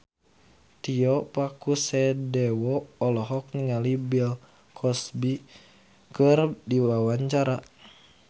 Tio Pakusadewo olohok ningali Bill Cosby keur diwawancara